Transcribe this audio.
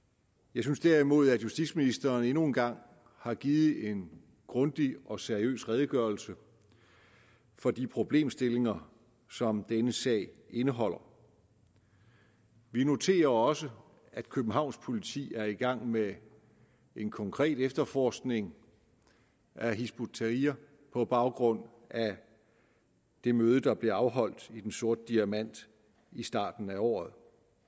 jeg synes derimod at justitsministeren endnu en gang har givet en grundig og seriøs redegørelse for de problemstillinger som denne sag indeholder vi noterer os også at københavns politi er i gang med en konkret efterforskning af hizb ut tahrir på baggrund af det møde der blev afholdt i den sorte diamant i starten af året